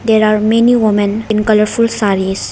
there are many women in colourful sarees.